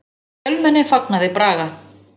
Fjölmenni fagnaði Braga